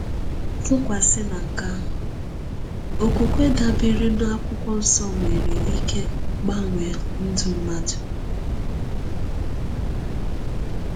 Tụkwasị na nke ahụ, okwukwe dabeere n’Akwụkwọ Nsọ nwere ike gbanwee ndụ mmadụ.